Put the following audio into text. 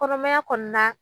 Kɔnɔmaya kɔnɔna